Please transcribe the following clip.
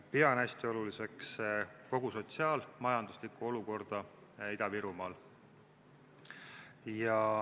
Pean hästi oluliseks ka sotsiaal-majanduslikku olukorda Ida-Virumaal.